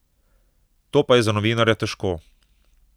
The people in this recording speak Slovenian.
To pa je za novinarja težko.